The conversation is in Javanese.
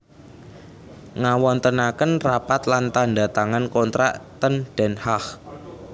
Ngawontenaken rapat lan tanda tangan kontrak ten Den Haag